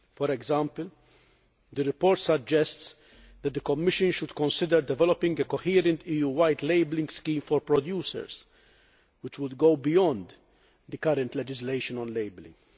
For example, the report suggests that the Commission should consider developing a coherent EU wide labelling scheme for producers, which would go beyond the current legislation on labelling.